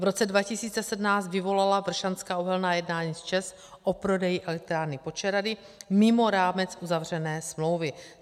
V roce 2017 vyvolala Vršanská uhelná jednání s ČEZ o prodeji elektrárny Počerady mimo rámec uzavřené smlouvy.